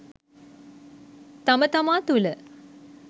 තම තමා තුළ